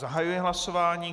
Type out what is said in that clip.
Zahajuji hlasování.